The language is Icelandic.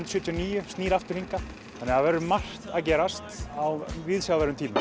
sjötíu og níu snýr aftur hingað þannig að það verður margt að gerast á viðsjárverðum tímum